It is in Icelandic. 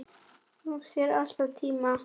Gaf sér alltaf tíma.